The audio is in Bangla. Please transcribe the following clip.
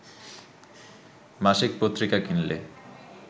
মাসিক পত্রিকা কিনলে